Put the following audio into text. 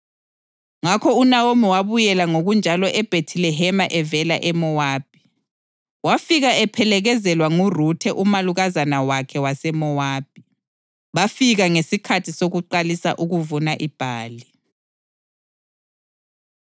Ngasuka lapha ngigcwele, kodwa uThixo usengibuyise ngingelalutho. Lingangibizelani ngokuthi nginguNawomi? UThixo ungehlisele uhlupho; uSomandla ungehlisele okubi.”